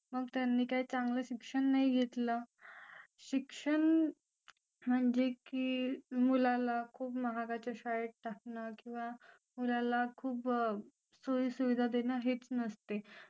मग त्यांनी काय चांगलं शिक्षण नाही घेतलं शिक्षण म्हणजे की मुलाला खूप महागाच्या शाळेत टाकणं किंवा मुलाला खूप सोयी सुविधा देणार हेच नसते